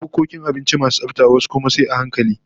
Akwai bukkokin abinci masu tsafta, wasu kuma sai a hankali